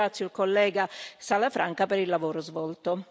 Ringrazio il collega Salafranca per il lavoro svolto.